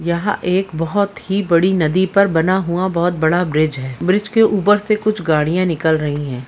यहां एक बहुत ही बड़ी नदी पर बना हुआ बहुत बड़ा ब्रिज है ब्रिज के ऊपर से कुछ गाड़िया निकल रही है।